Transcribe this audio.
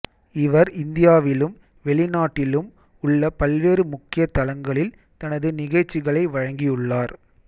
இவர் இந்தியாவிலும் வெளிநாட்டிலும் உள்ள பல்வேறு முக்கிய தளங்களில் தனது நிகழ்ச்சிகளை வழங்கியுள்ளார்